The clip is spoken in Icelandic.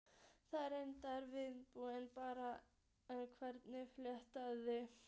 Þar með lengist vinnudagur barnanna enn frekar.